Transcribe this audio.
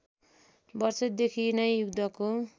वर्षदेखि नै युद्धको